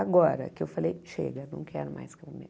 Agora que eu falei, chega, não quero mais comer